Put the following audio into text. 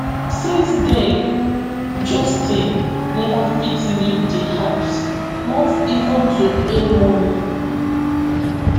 since den justin neva fit leave di house not even to earn money